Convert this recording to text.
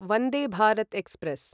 Vande Bharat express